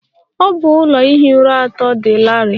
Ọ bụ ụlọ ihi ụra atọ dị larịị.